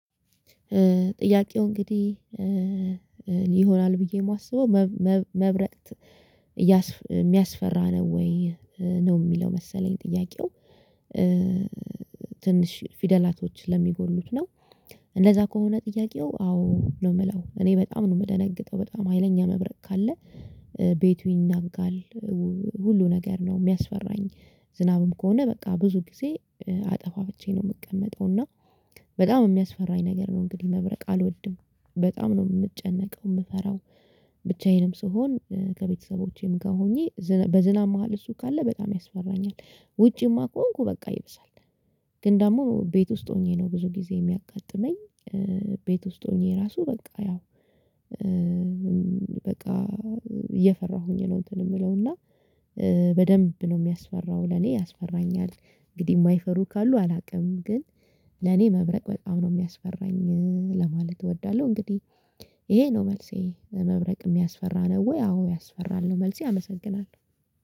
ጥያቄው እንግዲህ እኔ ይሆናል ብዬ የማስበው መብረቅ ሚያስፈራ ነው ወይ ነው የሚለው መሰለኝ? ጥያቄው ትንሽ ፊደላቶች ለሚጎድሉት ነው። እንደዛ ከሆነ ጥያቄው አዎ ነው ምለው እኔ በጣም ነው የምደነግጠው በጣም ሀይለኛ መብረቅ ካለ ቤቱ ይናጋል ሁሉ ነገር ነው የሚያስፈራኝ። ዝናብም ከሆነ በቃ ብዙ ጊዜ አጠፋፍቸ ነው የምቀመጠው። እና በጣም የሚያስፈራኝ ነገር ነው እንግዲህ መብረቅ አልወድም በጣም ነው የምጨነቀው። የምፈራው ብቻዬንም ስሆን ከቤተሰቦቼም ጋር ሆኜ በዝናብ መሃል እሱ ካለ በጣም ያስፈራኛል። ውጪማ ከሆንኩ በቃ ይበሳል። ግን ደግሞ ቤት ውስጥ ሆኜ ነው ብዙ ጊዜ የሚያጋጥመኝ። ቤት ውስጥ ሆኜ ራሱ በቃ ያው በቃ እየፈራሁኝ ነው። እንትን የምለው እና በደንብ ነው የሚያስፈራው ለኔ ያስፈራኛል። እንግዲህ የማይፈሩ ካሉ አላውቅም። ግን ለኔ መብረቅ በጣም ነው የሚያስፈራኝ ለማለት እወዳለሁ። እንግዲህ ይሄ ነው መልሴ መብረቅ የሚያስፈራ ነው? ወይ አዎ ያስፈራል ነው መልሴ አመሰግናለሁ